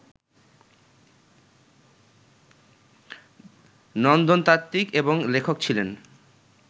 নন্দনতাত্বিক এবং লেখক ছিলেন